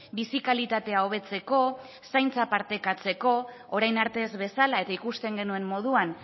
bizi kalitatea hobetzeko zaintza partekatzeko orain arte ez bezala eta ikusten genuen moduan